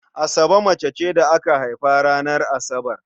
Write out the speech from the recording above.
Asabe mace ce da aka haifa ranar Asabar.